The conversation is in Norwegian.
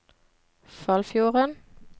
Foldfjorden